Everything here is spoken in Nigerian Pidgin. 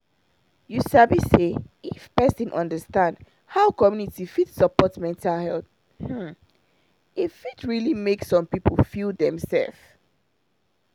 you sabi say if person understand how community fit support mental health hmm e fit really make some people feel dem sef